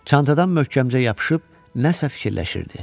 Çantadan möhkəmcə yapışıb nəsə fikirləşirdi.